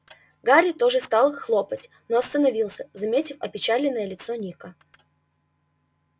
гарри тоже стал хлопать но остановился заметив опечаленное лицо ника